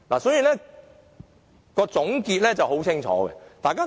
所以，總結是很清楚的。